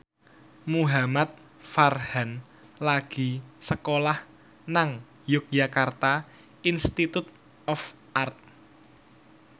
Muhamad Farhan lagi sekolah nang Yogyakarta Institute of Art